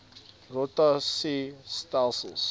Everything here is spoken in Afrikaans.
rota sie stelsels